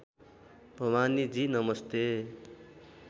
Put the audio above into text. भवानीजी नमस्ते